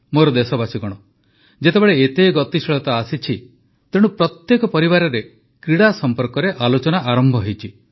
ମୋର ଦେଶବାସୀଗଣ ଯେତେବେଳେ ଏତେ ଗତିଶୀଳତା ଆସିଛି ତେଣୁ ପ୍ରତ୍ୟେକ ପରିବାରରେ କ୍ରୀଡ଼ା ସମ୍ପର୍କରେ ଆଲୋଚନା ଆରମ୍ଭ ହୋଇଛି